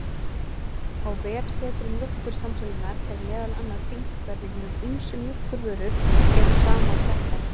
Á vefsetri Mjólkursamsölunnar, er meðal annars sýnt hvernig hinar ýmsu mjólkurvörur eru saman settar.